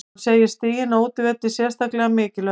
Hann segir stigin á útivelli sérstaklega mikilvæg.